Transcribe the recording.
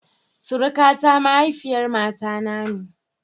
Surukata mahaifiyar mata na ne.